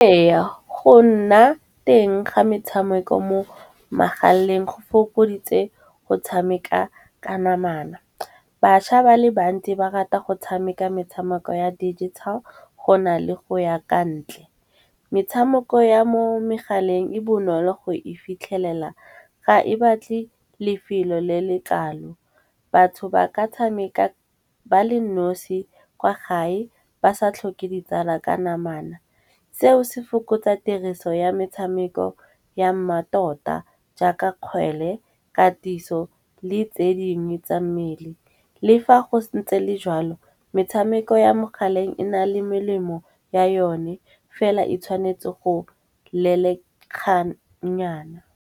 Eya, go nna teng ga metshameko mo megaleng go fokoditse go tshameka ka namana. Baša ba le bantsi ba rata go tshameka metshameko ya digital, go na le go ya ka ntle. Metshameko ya mo megaleng e bonolo go e fitlhelela ga e batle lefelo le le kalo, batho ba ka tshameka ba le nosi kwa gae ba sa tlhoke ditsala ka namana. Seo se fokotsa tiriso ya metshameko ya mmatota jaaka kgwele, katiso le tse dingwe tsa mmele. Le fa go ntse le jalo metshameko ya mogaleng e na le melemo ya yone fela e tshwanetse go lelekganyana.